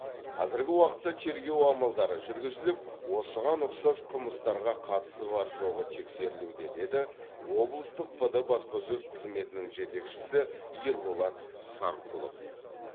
қазіргі уақытта тергеу амалдары жүргізіліп осыған ұқсас қылмыстарға қатысы бар жоғы тексерілуде деді облыстық пд баспасөз қызметінің жетекшісі ерболат сарқұлов